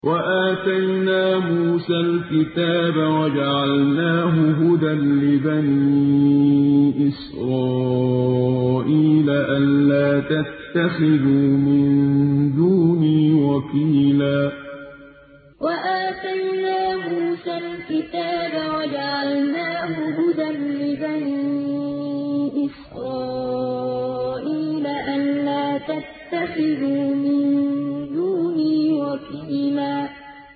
وَآتَيْنَا مُوسَى الْكِتَابَ وَجَعَلْنَاهُ هُدًى لِّبَنِي إِسْرَائِيلَ أَلَّا تَتَّخِذُوا مِن دُونِي وَكِيلًا وَآتَيْنَا مُوسَى الْكِتَابَ وَجَعَلْنَاهُ هُدًى لِّبَنِي إِسْرَائِيلَ أَلَّا تَتَّخِذُوا مِن دُونِي وَكِيلًا